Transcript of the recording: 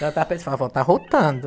Ela estava pensando, avó, está arrotando.